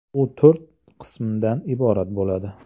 U to‘rt qismdan iborat bo‘ladi.